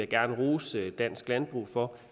gerne rose dansk landbrug for